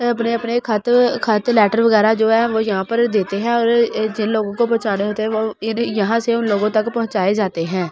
वे अपने अपने ख़त ख़त लैटर वगेरा जो है वो यहाँ पर देते है और जिन लोगो को पहुचाना होते है वो इन यहाँ से उन लोगो तक पहुचाये जाते है ।